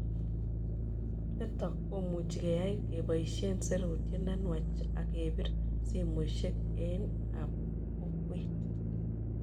Nitok komuchi keyai kepoishe serutiet ne nuachak kepir simoshek eng oik ab kokwet